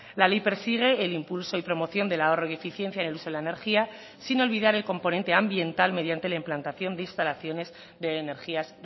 la ley persigue el impulso y promoción del ahorro y eficiencia en el uso de la energía sin olvidar el componente ambiental mediante la implantación de instalaciones de energías